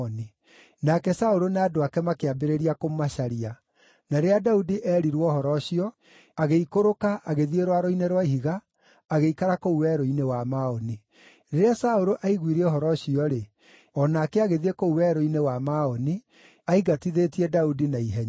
Nake Saũlũ na andũ ake makĩambĩrĩria kũmacaria, na rĩrĩa Daudi eerirwo ũhoro ũcio, agĩikũrũka agĩthiĩ rwaro-inĩ rwa ihiga, agĩikara kũu Werũ-inĩ wa Maoni. Rĩrĩa Saũlũ aiguire ũhoro ũcio-rĩ, o nake agĩthiĩ kũu Werũ-inĩ wa Maoni aingatithĩtie Daudi na ihenya.